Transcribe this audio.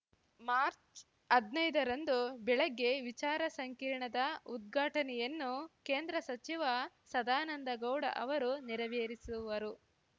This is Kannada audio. ಮಾಚ್ ಹದ್ನೈದು ರಂದು ಬೆಳಗ್ಗೆ ವಿಚಾರ ಸಂಕಿರಣದ ಉದ್ಘಾಟನೆಯನ್ನು ಕೇಂದ್ರ ಸಚಿವ ಸದಾನಂದಗೌಡ ಅವರು ನೆರವೇರಿಸುವರು